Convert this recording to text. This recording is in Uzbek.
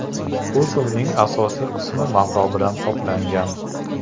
Kuzovning asosiy qismi mato bilan qoplangan.